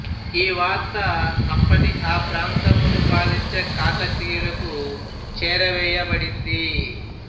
ఈ వార్త అప్పటి ఆ ప్రాంతమును పాలించే కాకతీయులకు చేరవేయ బడింది